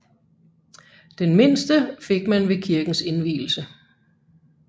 Den mindste fik man ved kirkens indvielse